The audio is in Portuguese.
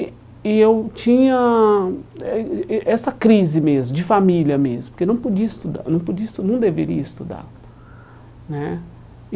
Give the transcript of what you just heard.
E e eu tinha eh eh essa crise mesmo, de família mesmo, porque não podia estudar não podia estu, não deveria estudar né. E